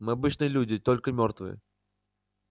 мы обычные люди только мёртвые